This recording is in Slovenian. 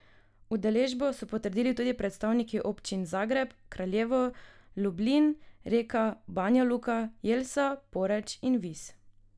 Udeležbo so potrdili tudi predstavniki občin Zagreb, Kraljevo, Lublin, Reka, Banja Luka, Jelsa, Poreč in Vis.